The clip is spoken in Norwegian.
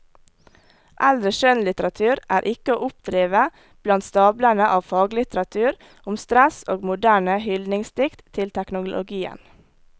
Eldre skjønnlitteratur er ikke å oppdrive blant stablene av faglitteratur om stress og moderne hyldningsdikt til teknologien.